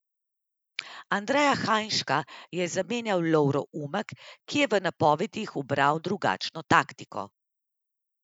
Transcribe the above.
Andreja Hajnška je zamenjal Lovro Umek, ki je v napovedih ubral drugačno taktiko.